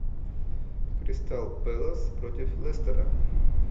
кристал пэлас против лестера